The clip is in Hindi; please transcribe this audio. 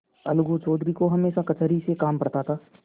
अलगू चौधरी को हमेशा कचहरी से काम पड़ता था